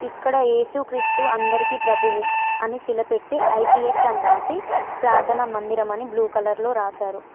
ఇక్కడ ఏసుక్రీస్తు అందరికీ ప్రభువు అని శిలపెట్టి ఐ_పీ_ఎస్ అని రాసి ప్రార్థన మందిరం అని బ్లూ కలర్ లో రాశారు.